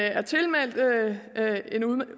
er tilmeldt en